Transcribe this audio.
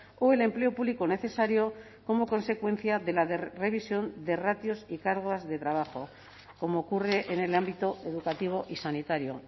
o el empleo público necesario como consecuencia de la revisión de ratios y cargas de trabajo como ocurre en el ámbito educativo y sanitario